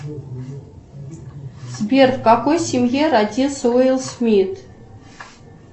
сбер в какой семье родился уилл смит